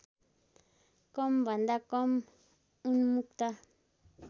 कमभन्दा कम उन्मुक्त